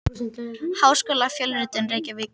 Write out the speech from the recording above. Háskólafjölritun: Reykjavík.